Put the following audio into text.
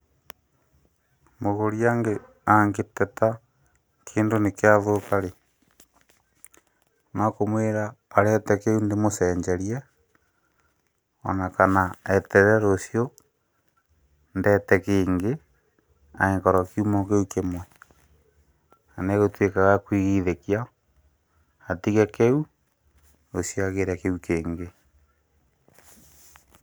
Mũgũri angĩteta kĩndũ nĩgĩathũka rĩ, no kũmwĩra arehe ndĩmũcenjerie ona kana eterere rũciũ ndehe kĩngĩ angĩkorwo kiuma kĩu kĩmwe. Na gĩtuĩkaga gĩa kũigithio atige kĩu, rũciũ agĩĩre kĩngĩ.